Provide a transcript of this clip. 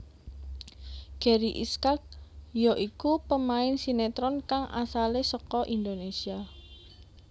Gary Iskak ya iku pemain sinetron kang asalé saka Indonésia